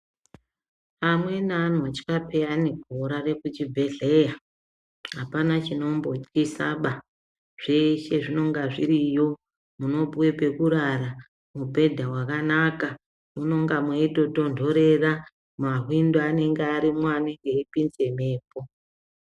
Amweni anotya peyani kurare kuchibhedhlera apana chinombotyisa baa zveshe zvinonga zviriyo munopuwe pekurara mubhedha wakanaka , munenge meitotonhorera mahwindo anenge arimwo anopinze mhepo.